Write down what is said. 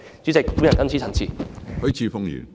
主席，我謹此陳辭。